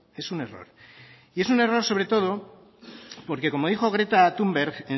es un error y es un error sobre todo porque como dijo greta thunberg